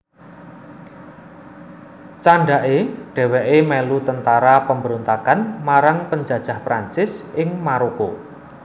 Candhaké dhèwèké mèlu tentara pemberontakan marang penjajah Prancis ing Maroko